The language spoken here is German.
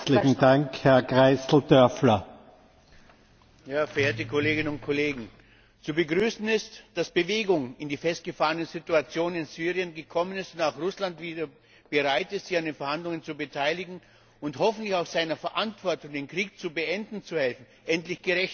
Herr Präsident, verehrte Kolleginnen und Kollegen! Zu begrüßen ist, dass Bewegung in die festgefahrene Situation in Syrien gekommen ist und auch Russland wieder bereit ist, sich an den Verhandlungen zu beteiligen, und hoffentlich auch seiner Verantwortung, den Krieg beenden zu helfen, endlich gerecht wird.